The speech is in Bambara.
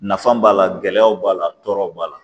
Nafa b'a la gɛlɛyaw b'a la tɔɔrɔ b'a la